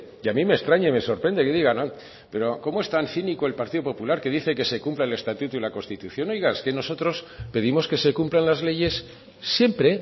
y a mí me extraña y me sorprende que digan cómo es tan cínico el partido popular que dice que se cumpla el estatuto y la constitución es que oiga nosotros pedimos que se cumplan las leyes siempre